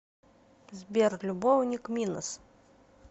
сбер любовник минос